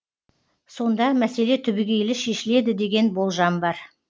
сонда мәселе түбегейлі шешіледі деген болжам бар